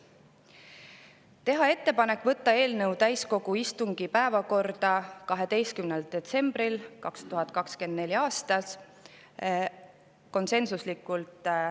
teha ettepanek võtta eelnõu täiskogu päevakorda 12. detsembril 2024.